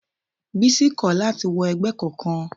Bísí kò láti wọ ẹgbẹ́ kankan.